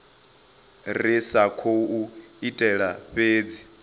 ri sa khou itela fhedzi